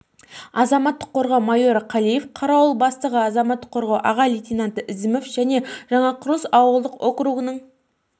азаматтық қорғау майоры қалиев қарауыл бастығы азаматтық қорғау аға лейтенанты ізімов және жаңақұрылыс ауылдық округінің